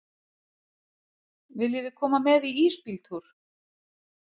Viljiði koma með í ísbíltúr?